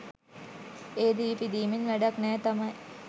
ඒ දිවි පිදීමෙන් වැඩක් නෑ තමයි.